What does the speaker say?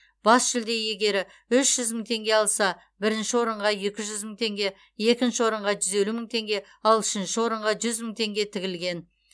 бас жүлде иегері үш жүз мың теңге алса бірінші орынға екі жүз мың теңге екінші орынға жүз елу мың теңге ал үшінші орынға жүз мың теңге тігілген